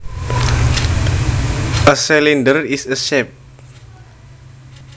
A cylinder is a shape